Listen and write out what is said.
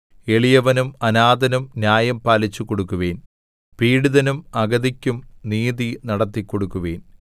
എളിയവനും അനാഥനും ന്യായം പാലിച്ചുകൊടുക്കുവിൻ പീഡിതനും അഗതിക്കും നീതി നടത്തിക്കൊടുക്കുവിൻ